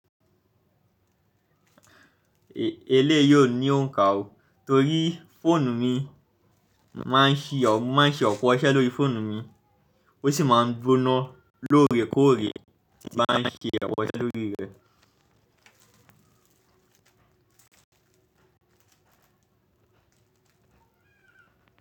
Èléyìí ò ní òǹkà o. Torí fóònù mi máa ń ṣi ọ̀, mo máa ń ṣe ọ̀pọ̀ iṣẹ́ lórí fóònù mi, ó sì máa ń gbóná lóorekóòrè tí n bá n ṣe awọ̀n iṣẹ́ lórí rẹ̀.